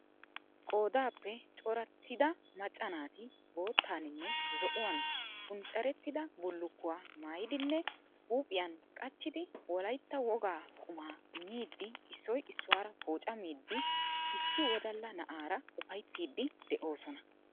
Qoodaappe coratidda macca naati bottaaninne zo^uwaan puncarettidda bullukkuwa maayiddinne huuphpiyan qachchiddi wolayitta wogaa quma miiddi isoy isuwaara poocaamidi issi wodalla naa^ara ufaayattidi de^oosona.